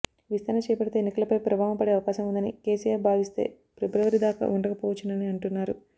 విస్తరణ చేపడితే ఎన్నికలపై ప్రభావం పడే అవకాశం ఉందని కేసీఆర్ భావిస్తే ఫిబ్రవరి దాకా ఉండకపోవచ్చునని అంటున్నారు